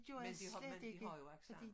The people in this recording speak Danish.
Men vi har vi har jo accent